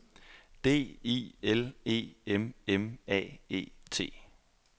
D I L E M M A E T